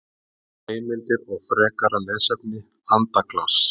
Heimildir og frekara lesefni Andaglas.